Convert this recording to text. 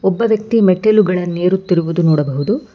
ಒಬ್ಬ ವ್ಯಕ್ತಿ ಮೆಟ್ಟಿಲುಗಳನ್ನು ಏರುತಿರುವುದು ನೋಡಬಹುದು.